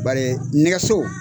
Bari nɛgɛso